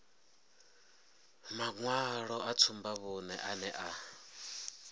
maṅwalo a tsumbavhuṅe ane a